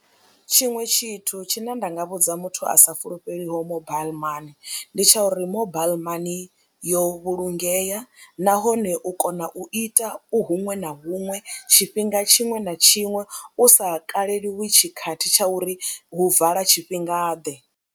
Tshiṅwe tshithu tshine nda nga vhudza muthu a sa fulufheli ho mobile money ndi tsha uri mobile money yo vhulungea nahone u kona u ita u huṅwe na huṅwe tshifhinga tshiṅwe na tshiṅwe u sa kaleliwi tshikhathi tsha uri hu vala tshifhingaḓe.